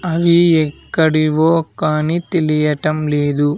అవి ఎక్కడివో కానీ తెలియటం లేదు.